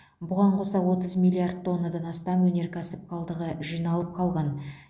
бұған қоса отыз миллиард тоннадан астам өнеркәсіп қалдығы жиналып қалған